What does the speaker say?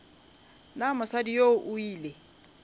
na mosadi yoo o ile